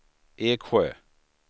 Eksjö